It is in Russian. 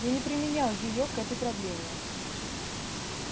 я не применял её к этой проблеме